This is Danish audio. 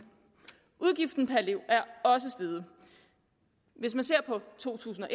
udgiften per elev er også steget i to tusind og